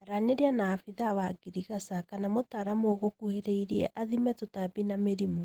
Aranĩria na abithaa wa ngirigasha kana mũtaramu ũgũkuhĩrĩrie athime tũtambi na mĩrimũ